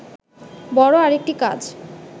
বড় আরেকটি কাজ